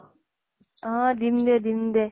অʼ দিম দে দিম দে।